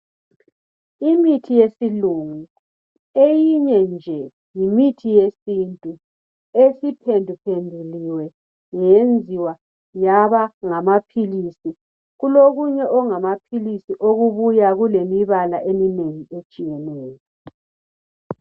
Imithi yesilungu eyinye nje yimithi yesintu esiphenduliwe yenziwa yaba ngamaphilisi kulokunye okungamaphilisi okubuya kulemibala eminengi etshiyeneyo